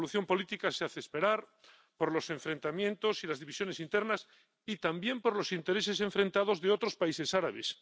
La solución política se hace esperar por los enfrentamientos y las divisiones internas y también por los intereses enfrentados de otros países árabes.